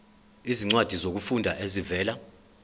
izincwadi zokufunda ezivela